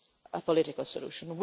a political solution.